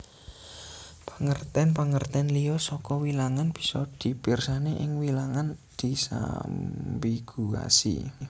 Pangertèn pangertèn liya saka wilangan bisa dipirsani ing Wilangan disambiguasi